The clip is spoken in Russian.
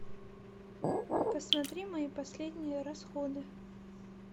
посмотри мои последние расходы